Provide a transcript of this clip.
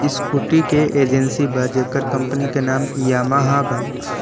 Scooty के agency बा जेकर कंपनी के नाम यामाहा बा।